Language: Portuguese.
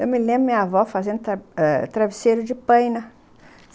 Eu me lembro da minha avó fazendo travesseiro de pena.